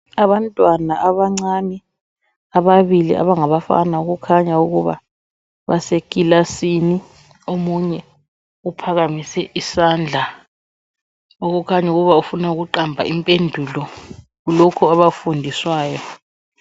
Abantwana abancane ababili abangabafana okukhanya ukuba basekilasini omunye uphakamise isandla okukhanya ukuba ufuna ukuqamba impendulo kulokho abakufundiswayo